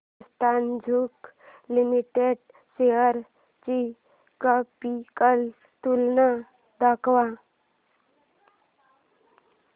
Hindustan zinc limited shares ची graphical तुलना दाखव